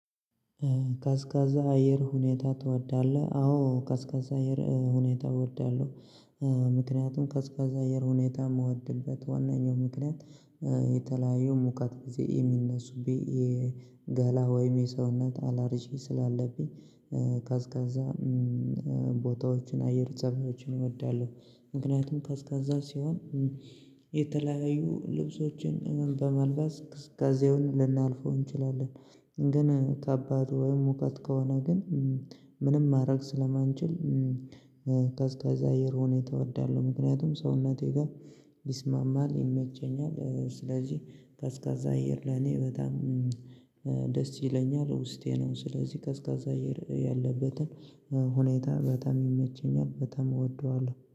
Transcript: ቀዝቃዛ አየር ሁኔታ ትወዳለህ? አዎ ቀዝቃዛ አየር ሁኔታ እወዳለሁ። ምክንያቱም ቀዝቃዛ አየር ሁኔታ የምወድበት ዋናኛው ምክንያት። የተለያየሁ ሙቀት ጊዜ የሚነሱ ገላ ወይም የሰውነት አላርጂ ስላለብኝ። ቀዝቃዛ ቦታዎችን አየር ጸባዮችን እወዳለሁ። ምክንያቱም ቀዝቃዛ ሲሆን የተለያዩ ልብሶችን ምን በመልበስ ቅዝቃዜ ልናልፈው እንችላለን። ግን ከባድ ወይም ሙቀት ከሆነ ግን ምንም ማድረግ ስለማንችል። ቀዝቃዛ አየር ሁኔታ እወዳለሁ ምክንያቱም ሰውነቴ ጋር ይስማማል ይመቸኛል። ስለዚህ ቀዝቃዛ አየር ለኔ በጣም ደስ ይለኛል ውስጤ ነው ስለዚህ ቀዝቃዛ አየር ያለበትን ሁኔታ በጣም ይመቸኛል በጣም እወደዋለሁ